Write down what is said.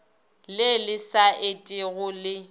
le le sa etego le